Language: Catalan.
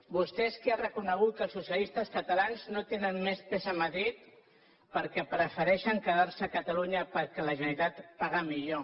vostè que ha reconegut que els socialistes catalans no tenen més pes a madrid perquè prefereixen quedar se a catalunya perquè la generalitat paga millor